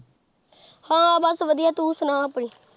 ਹਾਂ ਬਸ ਵਧੀਆ ਤੂੰ ਸੁਣਾ ਆਪਣੀ।